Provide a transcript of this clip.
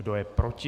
Kdo je proti?